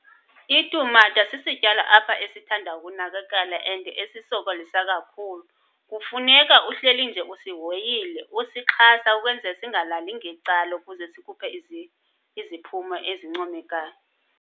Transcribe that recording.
Itumata sisityalo apha esithanda ukunakekela and esisokolisa kakhulu. Kufuneka uhleli nje usihoyile, usixhasa ukwenzela singalali ngecala ukuze sikhuphe iziphumo ezincomekayo.